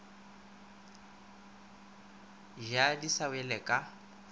ja di sa wele ka